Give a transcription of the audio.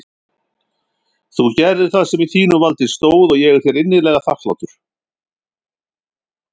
Þú gerðir það sem í þínu valdi stóð og ég er þér innilega þakklátur.